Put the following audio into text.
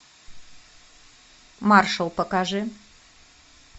маршал покажи